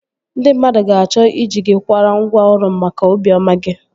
Ndị mmadụ ga-achọ ị ji gị kwara ngwa ọrụ maka obi ọma gị